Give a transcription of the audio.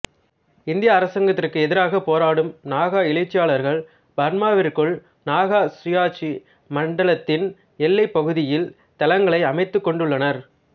இந்திய அரசாங்கத்திற்கு எதிராகப் போராடும் நாகா எழுச்சியாளர்கள் பர்மாவிற்குள் நாகா சுயாட்சி மண்டலத்தின் எல்லைப் பகுதியில் தளங்களைக் அமைத்துக் கொண்டுள்ளனர்